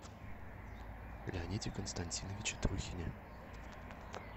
леониде константиновиче трухине